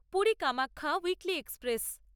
Puri Kamakhya weekly express